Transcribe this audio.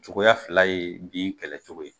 Cogoya fila ye bin kɛlɛ cogo ye.